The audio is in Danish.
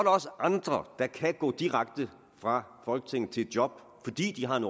også andre der kan gå direkte fra folketinget til et job fordi de har en